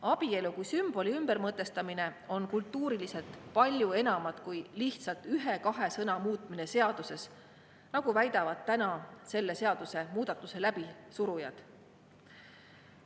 Abielu kui sümboli ümbermõtestamine tähendab kultuuriliselt palju enamat kui lihtsalt ühe-kahe sõna muutmist seaduses, nagu väidavad täna selle seadusemuudatuse läbisurujad.